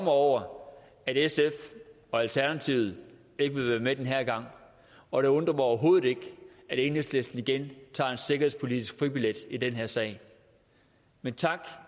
over at sf og alternativet ikke vil være med den her gang og det undrer mig overhovedet ikke at enhedslisten igen tager en sikkerhedspolitisk fribillet i den her sag men tak